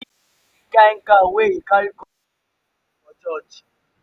if you see the kin cow wey he carry come do thanksgiving for church.